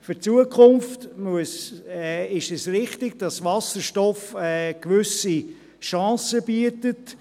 Für die Zukunft ist es richtig, dass Wasserstoff gewisse Chancen bietet.